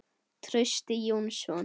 Trausti Jónsson